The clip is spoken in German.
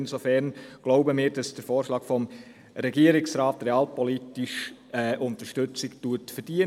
Insofern glauben wir, dass der Vorschlag des Regierungsrats realpolitische Unterstützung verdient.